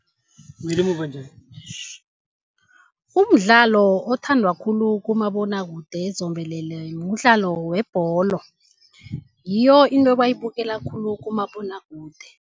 Umdlalo othandwa khulu kumabonwakude zombelele mdlalo webholo. Ngiyo into ebayibukela khulu kumabonwakude.